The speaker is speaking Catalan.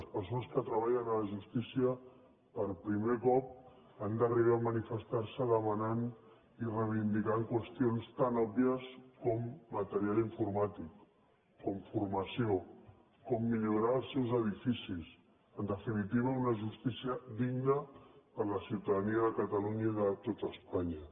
les persones que treballen a la justícia per primer cop han d’arribar a manifestarse demanant i reivindicant qüestions tan òbvies com material informàtic com formació com millorar els seus edificis en definitiva una justícia digna per a la ciutadania de catalunya i de tot espanya